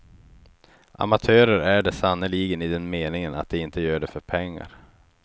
Amatörer är de sannerligen i den meningen att de inte gör det för pengar.